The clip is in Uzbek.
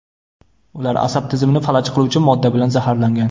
Ular asab tizimini falaj qiluvchi modda bilan zaharlangan.